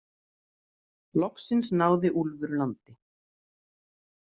Loksins náði Úlfur landi.